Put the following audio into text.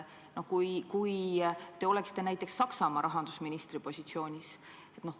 Mõelge, kui te oleksite näiteks Saksamaa rahandusministri positsioonis.